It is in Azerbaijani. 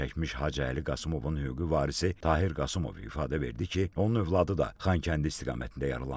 Zərər çəkmiş Hacıəli Qasımovun hüquqi varisi Tahir Qasımov ifadə verdi ki, onun övladı da Xankəndi istiqamətində yaralanıb.